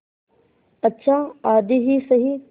अच्छा आधी ही सही